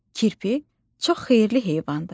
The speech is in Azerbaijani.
Kirpi çox xeyirli heyvandır.